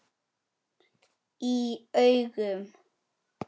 Í augum